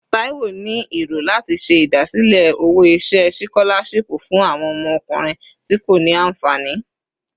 Taiwo ni ero lati ṣe idasile owo-iṣẹ sikolashipu fun awọn ọmọkunrin ti ko ni anfani